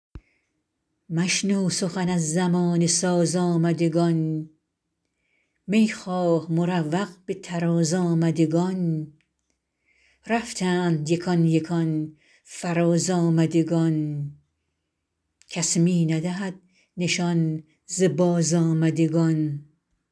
مشنو سخن از زمانه ساز آمدگان می خواه مروق به طراز آمدگان رفتند یکان یکان فراز آمدگان کس می ندهد نشان ز بازآمدگان